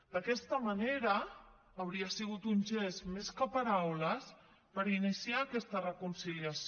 d’aquesta manera hauria sigut un gest més que paraules per iniciar aquesta reconciliació